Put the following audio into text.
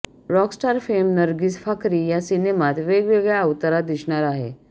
Rockstar fame Nargis Fakhri या सिनेमात वेगळ्या अवतारात दिसणार आहे